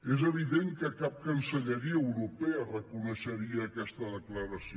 és evident que cap cancelleria europea reconeixeria aquesta declaració